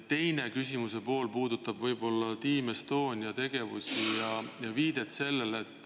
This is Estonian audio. Küsimuse teine pool puudutab Team Estonia tegevust.